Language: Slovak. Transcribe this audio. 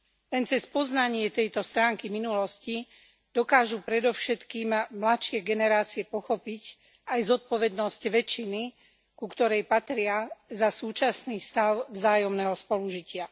Len cez spoznanie tejto stránky minulosti dokážu predovšetkým mladšie generácie pochopiť aj zodpovednosť väčšiny, ku ktorej patria, za súčasný stav vzájomného spolužitia.